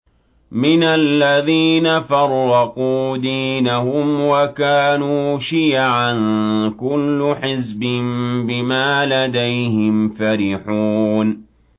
مِنَ الَّذِينَ فَرَّقُوا دِينَهُمْ وَكَانُوا شِيَعًا ۖ كُلُّ حِزْبٍ بِمَا لَدَيْهِمْ فَرِحُونَ